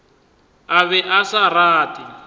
a be a sa rate